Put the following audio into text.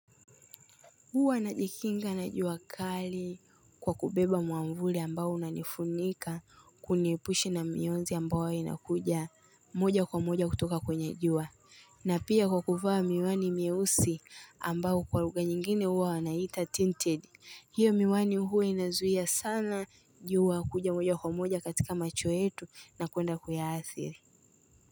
Huwa najikinga na jua kali kwa kubeba mwavuli ambao unanifunika kuniepusha na mionzi ambayo inakuja moja kwa moja kutoka kwenye jua. Na pia kwa kuvaa miwani mieusi ambayo kwa lugha nyingine huwa wanaiita tinted. Hiyo miwani huwa inazuia sana jua kuja moja kwa moja katika macho yetu na kuenda kuyaathiri.